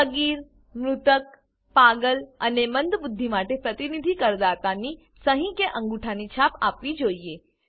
સગીર મૃતક પાગલ અને મંદબુદ્ધિ માટે પ્રતિનિધિ કરદાતાની સહી કે અંગુઠાની છાપ આપવી જોઈએ